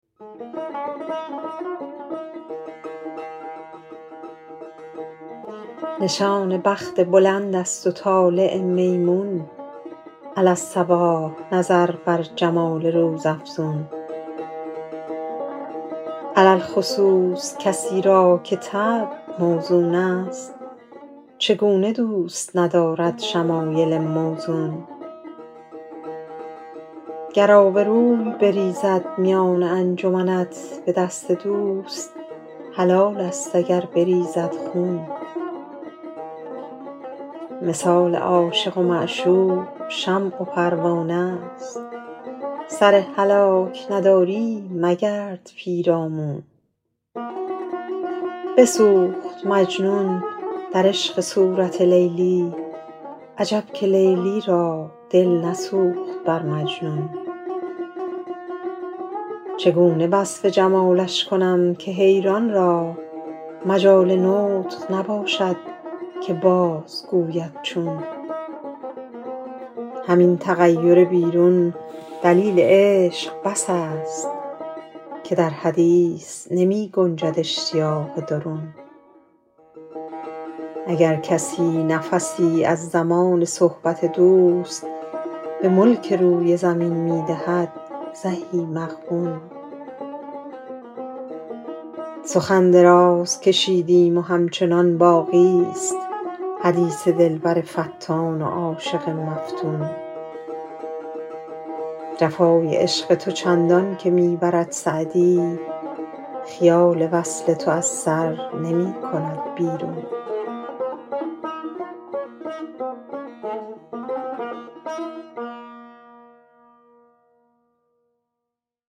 نشان بخت بلند است و طالع میمون علی الصباح نظر بر جمال روزافزون علی الخصوص کسی را که طبع موزون است چگونه دوست ندارد شمایل موزون گر آبروی بریزد میان انجمنت به دست دوست حلال است اگر بریزد خون مثال عاشق و معشوق شمع و پروانه ست سر هلاک نداری مگرد پیرامون بسوخت مجنون در عشق صورت لیلی عجب که لیلی را دل نسوخت بر مجنون چگونه وصف جمالش کنم که حیران را مجال نطق نباشد که بازگوید چون همین تغیر بیرون دلیل عشق بس است که در حدیث نمی گنجد اشتیاق درون اگر کسی نفسی از زمان صحبت دوست به ملک روی زمین می دهد زهی مغبون سخن دراز کشیدیم و همچنان باقی ست حدیث دلبر فتان و عاشق مفتون جفای عشق تو چندان که می برد سعدی خیال وصل تو از سر نمی کند بیرون